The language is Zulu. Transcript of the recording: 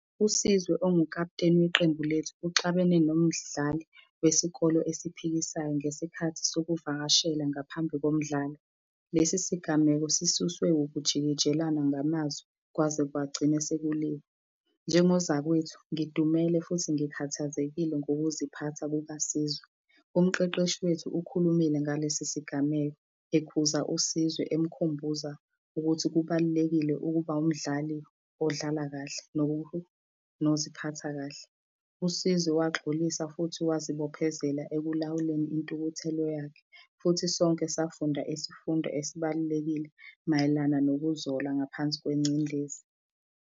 USizwe ongukaputeni weqembu lethu uxabene nomdlali wesikolo esiphikisayo ngesikhathi sokuvakashela ngaphambi komdlalo. Lesi sigameko sisuswe ukujikijelana ngamazwi kwaze kwagcine sekuliwa. Njengozakwethu, ngidumele futhi ngikhathazekile ngokuziphatha kukaSizwe. Umqeqeshi wethu ukhulumile ngalesi sigameko ekuza uSizwe, emukhumbuza ukuthi kubalulekile ukuba umdlali odlala kahle noziphatha kahle. USizwe waxolisa futhi wazibophezela ekulawuleni intukuthelo yakhe, futhi sonke safunda isifundo esibalulekile mayelana nokuzola ngaphansi kwencindezi.